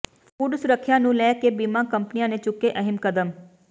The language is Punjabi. ਫੂਡ ਸੁਰੱਖਿਆ ਨੂੰ ਲੈ ਕੇ ਬੀਮਾ ਕੰਪਨੀਆਂ ਨੇ ਚੁੱਕੇ ਅਹਿਮ ਕਦਮ